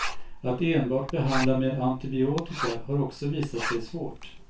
Att enbart behandla med antibiotika har också visat sig svårt.